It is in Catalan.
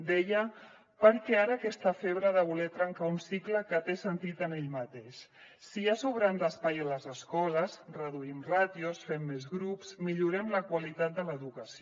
deia per què ara aquesta febre de voler trencar un cicle que té sentit en ell mateix si hi ha sobrant d’espai a les escoles reduïm ràtios fem més grups millorem la qualitat de l’educació